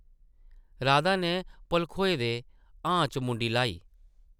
राधा नै भलखोए दे ‘हां’ च मुंडी ल्हाई ।